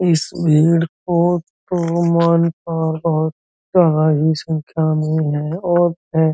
इस भीड़ को संख्या में है और हैं।